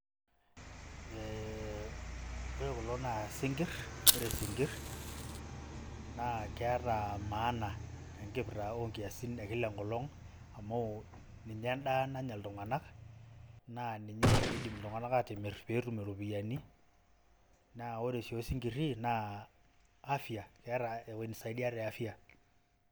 ee ore kulo naa isinkirr ore isinkirr naa keeta maana tenkipirrta onkiasin e kila enkolong amu ninye endaa nanya iltung'anak naa ninye idim iltung'anak atimirr petum iropiyiani naa ore sii osinkirri naa afya keeta ewoi nisaidia te afya.